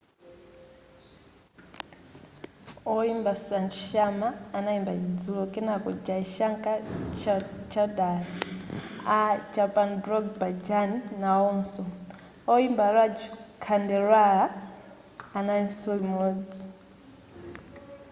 woimba sanju sharma anayimba chidzulo kenako jai shankar choudhary a chhappan blog bhajan naonso woimba raju khandelwala analinso limodzi